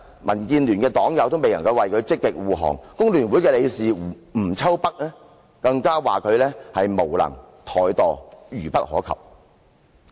民建聯黨友未能為他積極護航，工聯會理事吳秋北更批評他無能和怠惰，愚不可及。